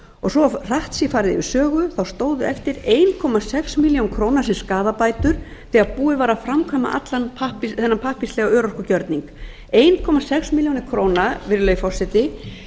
svo farið sé hratt yfir sögu þá stóðu eftir eitt komma sex milljón króna sem skaðabætur þegar búið var að framkvæma allan þennan pappírslega örorkugjörning ein komma sex milljónir króna virðulegi forseti